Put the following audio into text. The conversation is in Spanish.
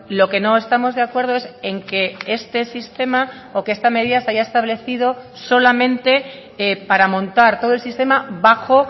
lo que no estamos de acuerdo es en que este sistema o que esta medida se haya establecido solamente para montar todo el sistema bajo